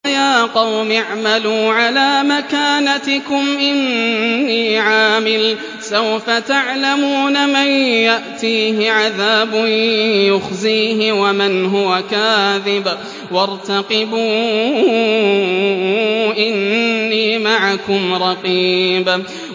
وَيَا قَوْمِ اعْمَلُوا عَلَىٰ مَكَانَتِكُمْ إِنِّي عَامِلٌ ۖ سَوْفَ تَعْلَمُونَ مَن يَأْتِيهِ عَذَابٌ يُخْزِيهِ وَمَنْ هُوَ كَاذِبٌ ۖ وَارْتَقِبُوا إِنِّي مَعَكُمْ رَقِيبٌ